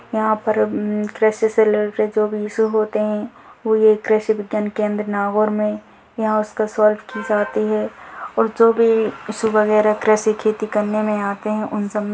यहाँ पर कृषि से रिलेटेड जो भी इशू होते है वो ये कृषि विज्ञान केंद्र नागौर में यहाँ उसको सॉल्व की जाती है और जो भी इशू वगेरा कृषि खेती करने में आते है उन सब में --